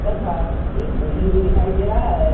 तथा एक बिल्डिंग भी दिखाई दे रहा है।